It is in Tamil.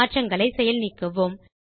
மாற்றங்களை செயல் நீக்குவோம்